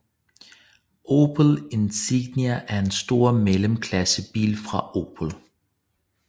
Opel Insignia er en stor mellemklassebil fra Opel